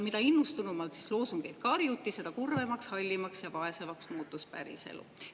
Mida innustunumalt loosungeid karjuti, seda kurvemaks, hallimaks ja vaesemaks muutus päriselu.